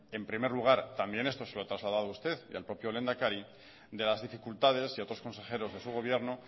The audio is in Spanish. en primer lugar también esto se lo he trasladado a usted y al propio lehendakari de las dificultades y a otros consejeros de su gobierno